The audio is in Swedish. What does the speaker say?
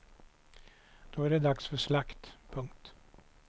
Då är det dags för slakt. punkt